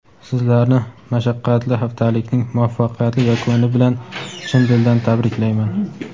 Sizlarni mashaqqatli haftalikning muvaffaqiyatli yakuni bilan chin dildan tabriklayman!.